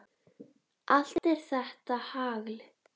Allt er þetta hagl.